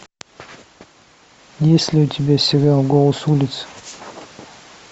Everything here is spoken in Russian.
есть ли у тебя сериал голос улиц